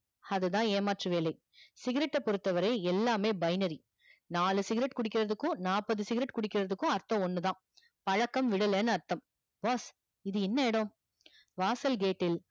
அதுதான் யாமாற்று வேலை cigarette டை பொறுத்த வரை எல்லாமே binary நாலு cigarette குடிக்கறதுக்கும் நாப்பது cigarette குடிக்கறதுக்கும் அர்த்தம் ஒண்ணுதா பழக்கம் விடலன்னு அர்த்தம் boss இது என்ன இடம் வாசல் gate டில்